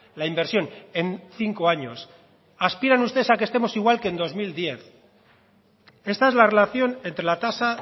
la inversión en cinco años aspiran ustedes a que estemos igual que en dos mil diez esta es la relación entre la tasa